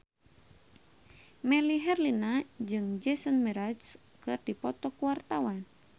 Melly Herlina jeung Jason Mraz keur dipoto ku wartawan